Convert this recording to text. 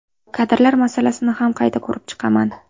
Kadrlar masalasini ham qayta ko‘rib chiqaman.